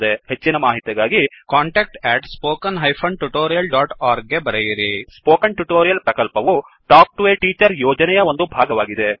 ಹೆಚ್ಚಿನ ಮಾಹಿತಿಗಾಗಿ contactspoken tutorialorg ಗೆ ಬರೆಯಿರಿ ಸ್ಪೋಕನ್ ಟ್ಯುಟೋರಿಯಲ್ ಪ್ರಕಲ್ಪವು ಟಾಕ್ ಟು ಎ ಟೀಚರ್ ಯೋಜನೆಯ ಒಂದು ಭಾಗವಾಗಿದೆ